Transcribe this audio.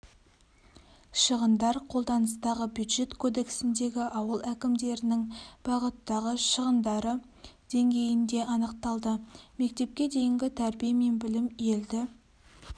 шығындар қолданыстағы бюджет кодексіндегі ауыл әкімдерінің бағыттағы шығындары деңгейінде анықталды мектепке дейінгі тәрбие мен білім елді